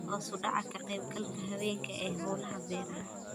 Hoos u dhaca ka qaybgalka haweenka ee hawlaha beeraha.